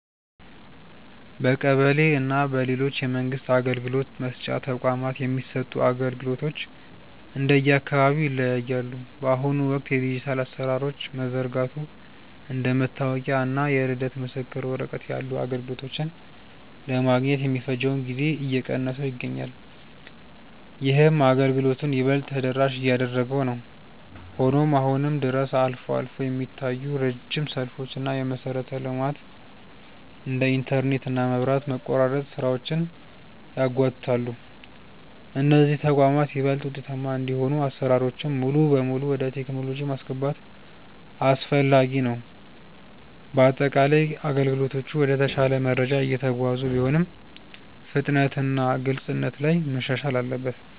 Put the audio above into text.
በቀበሌ እና በሌሎች የመንግስት አገልግሎት መስጫ ተቋማት የሚሰጡ አገልግሎቶች እንደየአካባቢው ይለያያሉ። በአሁኑ ወቅት የዲጂታል አሰራሮች መዘርጋቱ እንደ መታወቂያ እና የልደት ምስክር ወረቀት ያሉ አገልግሎቶችን ለማግኘት የሚፈጀውን ጊዜ እየቀነሰው ይገኛል። ይህም አገልግሎቱን ይበልጥ ተደራሽ እያደረገው ነው። ሆኖም አሁንም ድረስ አልፎ አልፎ የሚታዩ ረጅም ሰልፎች እና የመሰረተ ልማት (እንደ ኢንተርኔት እና መብራት) መቆራረጥ ስራዎችን ያጓትታሉ። እነዚህ ተቋማት ይበልጥ ውጤታማ እንዲሆኑ አሰራሮችን ሙሉ በሙሉ ወደ ቴክኖሎጂ ማስገባት አስፈላጊ ነው። በአጠቃላይ አገልግሎቶቹ ወደ ተሻለ ደረጃ እየተጓዙ ቢሆንም፣ ፍጥነትና ግልጽነት ላይ መሻሻል አለበት።